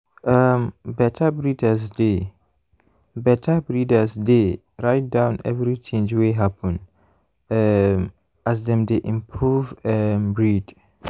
um better breeders dey better breeders dey write down every change wey happen um as dem dey improve um breed.